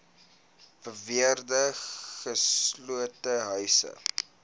beweerde gesloopte huise